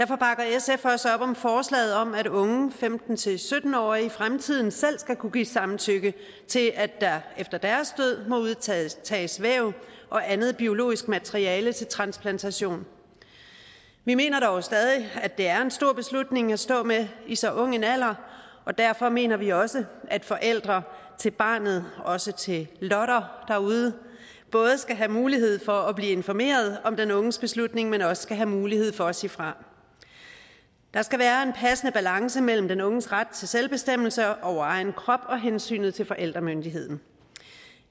sf også op om forslaget om at unge femten til sytten årige i fremtiden selv skal kunne give samtykke til at der efter deres død må udtages væv og andet biologisk materiale til transplantation vi mener dog stadig at det er en stor beslutning at stå med i så ung en alder og derfor mener vi også at forældre til barnet også til lotter derude både skal have mulighed for at blive informeret om den unges beslutning men også skal have mulighed for at sige fra der skal være en passende balance mellem den unges ret til selvbestemmelse over egen krop og hensynet til forældremyndigheden